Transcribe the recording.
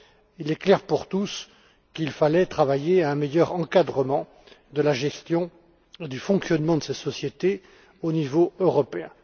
Il est clair pour tous qu'il fallait travailler à un meilleur encadrement de la gestion du fonctionnement de ces sociétés au niveau européen.